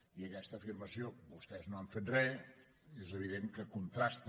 i aquesta afirmació vostès no han fet re és evident que contrasta